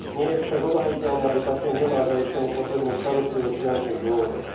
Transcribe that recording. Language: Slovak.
Nie je však obhájiteľné, aby pacient nemal zaistenú potrebnú starostlivosť z finančných dôvodov.